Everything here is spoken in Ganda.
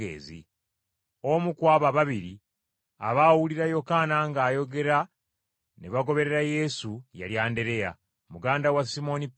Omu ku abo ababiri abaawulira Yokaana ng’ayogera ne bagoberera Yesu, yali Andereya, muganda wa Simooni Peetero.